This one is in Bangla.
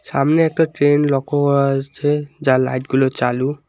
সামনে একটা ট্রেন লক্ষ্য করা যাচ্ছে যার লাইটগুলো চালু।